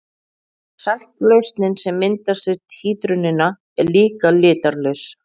Saltlausnin sem myndast við títrunina er líka litarlaus.